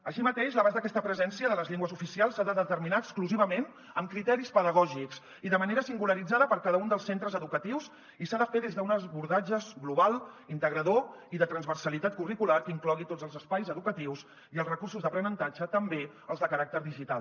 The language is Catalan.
així mateix l’abast d’aquesta presència de les llengües oficials s’ha de determinar exclusivament amb criteris pedagògics i de manera singularitzada per a cada un dels centres educatius i s’ha de fer des d’un abordatge global integrador i de transversalitat curricular que inclogui tots els espais educatius i els recursos d’aprenentatge també els de caràcter digital